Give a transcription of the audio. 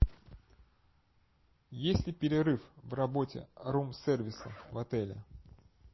есть ли перерыв в работе рум сервиса в отеле